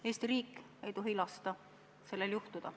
Eesti riik ei tohi lasta sellel juhtuda.